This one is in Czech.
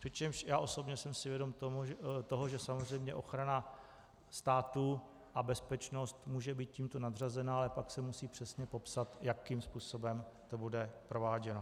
Přičemž já osobně jsem si vědom toho, že samozřejmě ochrana státu a bezpečnost může být tímto nadřazená, ale pak se musí přesně popsat, jakým způsobem to bude prováděno.